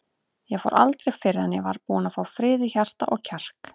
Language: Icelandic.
Ég fór aldrei fyrr en ég var búinn að fá frið í hjarta og kjark.